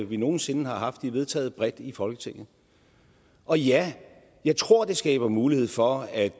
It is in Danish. vi nogen sinde har haft de er vedtaget bredt i folketinget og ja jeg tror at det skaber mulighed for at